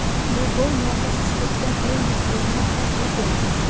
Bu gol murosasiz kechgan o‘yin taqdirini hal qilib beradi.